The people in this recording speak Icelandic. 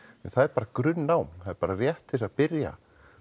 en það er bara grunnám það er bara rétt til þess að byrja